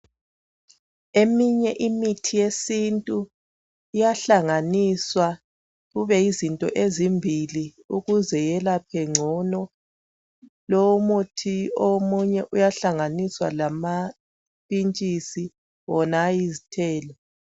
Eminye imithi yesiNtu iyahlanganiswa kube yizinto ezimbili ukuze yelaphe ngcono. Lomuthi omunye uyahlanganiswa lamapintshisi wona ayizithelo.